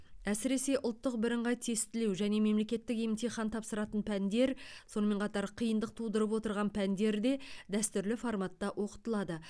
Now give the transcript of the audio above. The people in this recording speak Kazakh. әсіресе ұлттық бірыңғай тестілеу және мемлекеттік емтихан тапсыратын пәндер сонымен қатар қиындық тудырып отырған пәндер де дәстүрлі форматта оқытылады